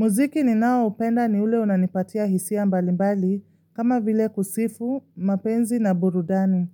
Muziki ninaoupenda ni ule unanipatia hisia mbalimbali, kama vile kusifu, mapenzi na burudani.